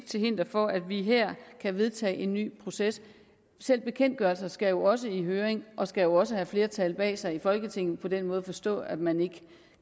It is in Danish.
til hinder for at vi her kan vedtage en ny proces selv bekendtgørelser skal jo også i høring og skal også have flertal bag sig i folketinget på den måde at forstå at man ikke